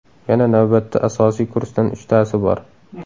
Yana navbatda asosiy kursdan uchtasi bor.